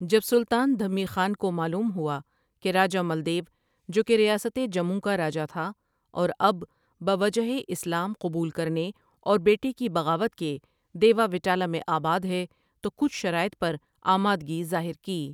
جب سلطان دھمی خان کو معلوم ہوا کہ راجہ ملدیو جو کہ ریاستِ جموں کا راجہ تھا اوراب بوجہ اسلام قبول کرنے اور بیٹے کی بغاوت کے دیوا وٹالہ میں آباد ہے تو کچھ شراٸط پر آمادگی ظاہرکی۔